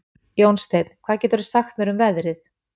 Jónsteinn, hvað geturðu sagt mér um veðrið?